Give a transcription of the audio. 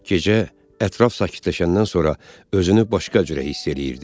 Gecə ətraf sakitləşəndən sonra özünü başqa cürə hiss eləyirdi.